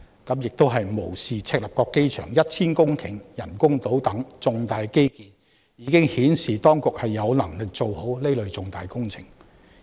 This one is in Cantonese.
他們此舉無視赤鱲角機場 1,000 公頃人工島等重大基建的成功顯示當局過往已有能力做好此類重大工程。